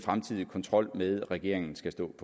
holdning regeringen